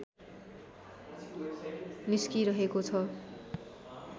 निस्किरहेको छ